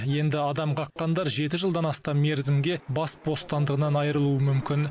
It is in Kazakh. енді адам қаққандар жеті жылдан астам мерзімге бас бостандығынан айырылуы мүмкін